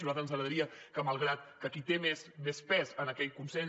a nosaltres ens agradaria que malgrat que qui té més pes en aquell consell